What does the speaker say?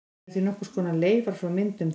Þær eru því nokkurs konar leifar frá myndun þess.